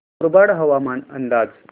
मुरबाड हवामान अंदाज